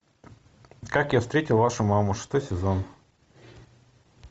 как я встретил вашу маму шестой сезон